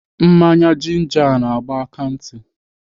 Mmanya jinja a na-agba m akantị.